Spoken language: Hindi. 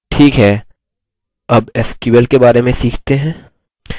ठीक है अब sql के बारे में सीखते हैं